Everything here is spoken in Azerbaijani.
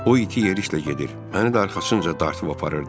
O iti yerişlə gedir, məni də arxasınca dartıb aparırdı.